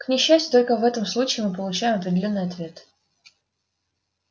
к несчастью только в этом случае мы получаем определённый ответ